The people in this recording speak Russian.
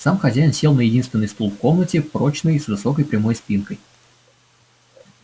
сам хозяин сел на единственный стул в комнате прочный с высокой прямой спинкой